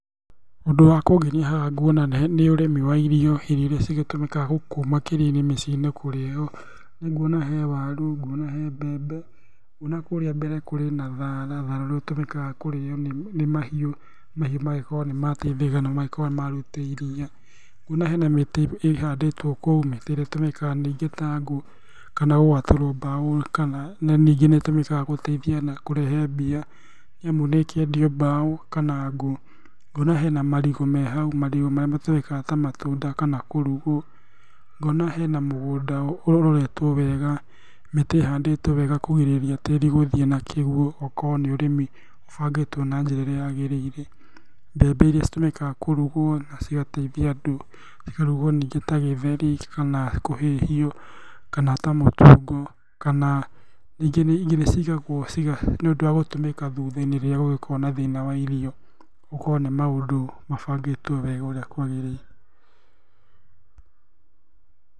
Ũndũ wa kũngenĩa haha nguona nĩ ũrĩmi wa irio. Irio iria cigĩtũmĩkaga gũkũ makĩria-inĩ mĩciĩ-inĩ kũrĩo. Nĩ nguona he waru, ngona he mbembe, ona kũrĩa mbere kũrĩ na thara, thara nĩ ũtũmĩkaga kũrĩo nĩ mahiũ, mahiũ magakorwo nĩ mateithĩka na magakorwo nĩmaruta iria. Nguona hena mĩtĩ ihandĩtwo kũu, mĩtĩ ĩrĩa ĩtũmĩkaga ningĩ ta ngũ, kana gwatũrwo mbaũ kana ningĩ nĩ ĩtũmĩkaga gũteithia na kũrehe mbia, nĩamu nĩ ĩkiendio mbaũ kana ngũ. Nguona hena marigũ me hau, marigũ marĩa matũmĩkaga ta matunda kana kũrugwo. Ngona hena mũgũnda ũroretwo wega, mĩtĩ ĩhandĩtwo wega kũgirĩrĩria tĩrĩ gũthiĩ na kĩguũ. Ũgakorwo nĩ ũrĩmi ũbangĩtwo na njĩra ĩrĩa yagĩrĩĩre. Mbembe iria citũmĩkaga kũrugwo na cigateithia andũ, cikarugwo ningĩ ta gĩtheri kana kũhĩhio, kana ta mũtungo, kana ningĩ nĩ ciigagwo niũndũ wa gũtũmĩka thuthainĩ rĩrĩa gũgĩkoragwo na thĩna wa irio. Gũkorwo nĩ maũndũ mabangĩtwo wega ũrĩa kwagĩrĩire.